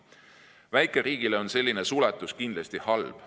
Väikeriigile on selline suletus kindlasti halb.